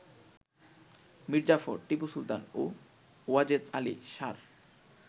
মীরজাফর, টিপু সুলতান ও ওয়াজেদ আলি শাহ র